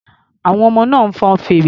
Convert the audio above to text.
Àwọn ọmọ náà ń fọn fèrè.